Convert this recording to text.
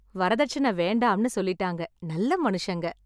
வரதட்சணை வேண்டாம்ன்னு சொல்லிட்டாங்க. நல்ல மனுஷங்க.